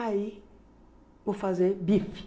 Aí, vou fazer bife.